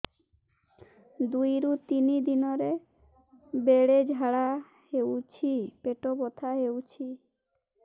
ଦୁଇରୁ ତିନି ଦିନରେ ବେଳେ ଝାଡ଼ା ହେଉଛି ପେଟ ବଥା ହେଉଛି